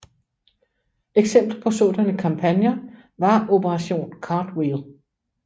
Eksempler på sådanne kampagner var Operation Cartwheel